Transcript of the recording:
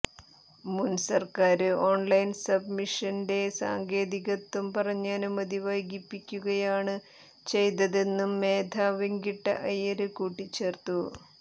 മുന്സര്ക്കാര് online സബ്മിഷന്റെ സാങ്കേതികത്വം പറഞ്ഞ് അനുമതി വൈകിപ്പിക്കുകയാണ് ചെയ്തതെന്നും മേധ വെങ്കിട്ട അയ്യര് കൂട്ടിച്ചേര്ത്തു